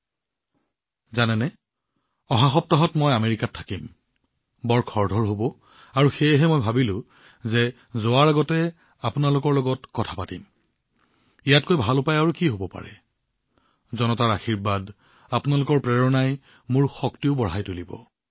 আপোনালোক সকলোৱে জানে যে অহা সপ্তাহত মই আমেৰিকাত থাকিম আৰু তাত বহুত ব্যস্ত কাৰ্যসূচী থাকিব আৰু সেইবাবে মই ভাবিলো তালৈ যোৱাৰ পূৰ্বে আপোনালোকৰ সৈতে কথা পাতি লোৱাটোৱেই ভাল হব নহয়নে জনতাজনাৰ্দনৰ আশীৰ্বাদ আপোনালোকৰ প্ৰেৰণাই মোৰ শক্তি বৃদ্ধি কৰিব